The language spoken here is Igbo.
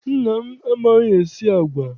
Nna m amaghị-esi agwa.